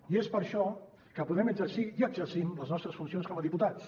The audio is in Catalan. i és per això que podem exercir i exercim les nostres funcions com a diputats